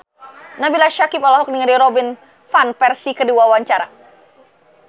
Nabila Syakieb olohok ningali Robin Van Persie keur diwawancara